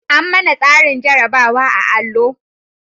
An manna tsarin jarabawa a'allo.